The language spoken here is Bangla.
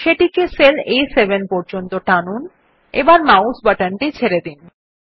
সেটিকে সেল আ7 পর্যন্ত টানুন এবং মাউস বাটনটি ছেড়ে দিন